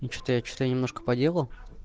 и что-то я что-то немножко поделал